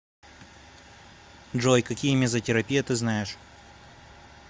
джой какие мезотерапия ты знаешь